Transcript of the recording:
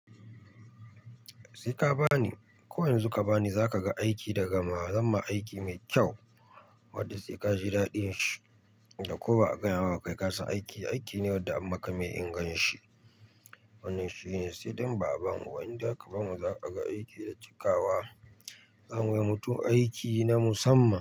Sai ka bani, ko yanzu ka bani za ka ga aiki da gamawa ma aiki mai kyau wadda sai ka ji daɗin shi, wanda ko ba a gaya maka ka yi kasa aiki, aiki ne wadda an maka mai inganshi. Wannan shine sai dai in ba'a bamu ba indai aka ba mu za ka ga aiki da cikawa. Za mu yi wa mutum aiki na musamman.